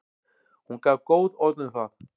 Hún gaf góð orð um það.